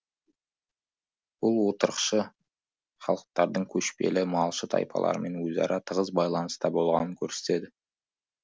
бұл отырықшы халықтардың көшпелі малшы тайпаларымен өзара тығыз байланыста болғанын көрсетеді